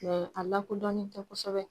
a lakodɔnnen tɛ kosɛbɛ.